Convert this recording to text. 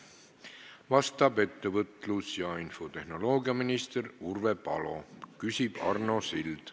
Vastab ettevõtlus- ja infotehnoloogiaminister Urve Palo, küsib Arno Sild.